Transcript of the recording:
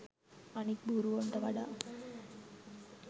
අනික් බූරුවොන්ට වඩා